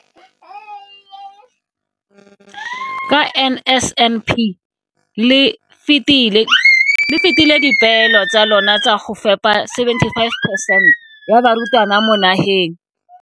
Ka NSNP le fetile le fetile dipeelo tsa lona tsa go fepa 75 percent ya barutwana ba mo nageng.